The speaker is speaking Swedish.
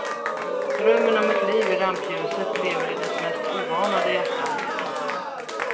Drömmen om ett liv i rampljuset lever i dess mest oanade hjärtan.